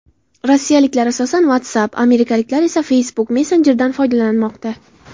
Rossiyaliklar asosan WhatsApp, amerikaliklar esa Facebook Messenger’dan foydalanmoqda.